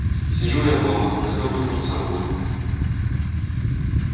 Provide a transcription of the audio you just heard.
сижу я дома готовлю курсовую